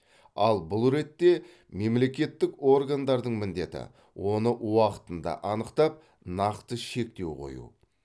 ал бұл ретте мемлекеттік органдардың міндеті оны уақытында анықтап нақты шектеу қою